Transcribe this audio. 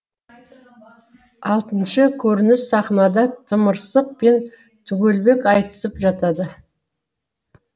алтыншы көрініссахнада тымырсық пен түгелбек айтысып жатады